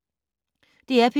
DR P3